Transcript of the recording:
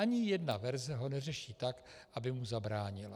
Ani jedna verze ho neřeší tak, aby mu zabránila.